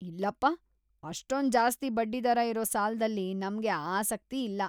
ಇಲ್ಲಪ್ಪ! ಅಷ್ಟೊಂದ್‌ ಜಾಸ್ತಿ ಬಡ್ಡಿದರ ಇರೋ ಸಾಲದಲ್ಲಿ ನಮ್ಗೆ ಆಸಕ್ತಿ ಇಲ್ಲ.